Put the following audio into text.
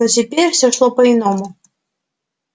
но теперь все шло по иному